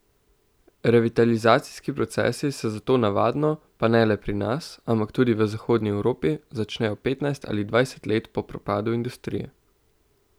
Revitalizacijski procesi se zato navadno, pa ne le pri nas, ampak tudi v zahodni Evropi, začnejo petnajst ali dvajset let po propadu industrije.